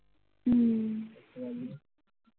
হম